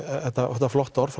þetta þetta flotta orð